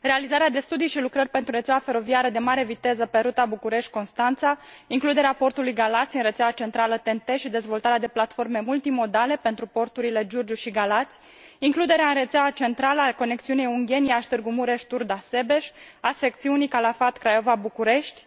realizarea de studii și lucrări pentru rețeaua feroviară de mare viteză pe ruta București Constanța, includerea portului Galați în rețeaua centrală TEN T și dezvoltarea de platforme multimodale pentru porturile Giurgiu și Galați, includerea în rețeaua centrală a conexiunii Ungheni Iași Târgu Mureș Turda Sebeș, a secțiunii Calafat Craiova București